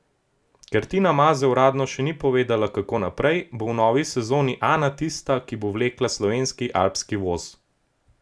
Ker Tina Maze uradno še ni povedala, kako naprej, bo v novi sezoni Ana tista, ki bo vlekla slovenski alpski voz.